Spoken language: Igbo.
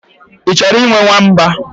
Ị chọrọ ịnwe nwamba?